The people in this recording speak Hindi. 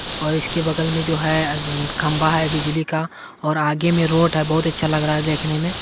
और इसके बगल में जो है खंबा है बिजली का और आगे में रोड है बहुत अच्छा लग रहा है देखने में।